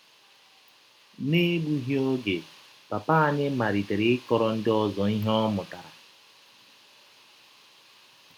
N’egbụghị ọge, papa anyị malitere ịkọrọ ndị ọzọ ihe ọ mụtara.